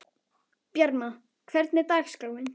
Bjarma, hvernig er dagskráin?